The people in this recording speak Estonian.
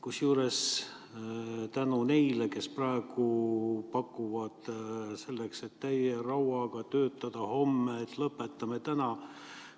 Kusjuures tänu neile, kes praegu pakuvad, et selleks, et homme täie rauaga töötada, lõpetame täna ära.